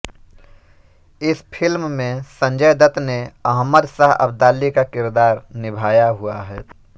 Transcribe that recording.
इस फिल्म में संजय दत्त ने अहमद शाह अब्दाली का किरदार निभाया हुआ है